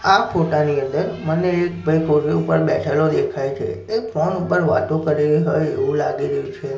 આ ફોટા ની અંદર મને એક ભાઈ ઉપર બેઠેલો દેખાય છે એ ફોન ઉપર વાતો કરે હોઈ એવુ લાગી રહ્યુ છે.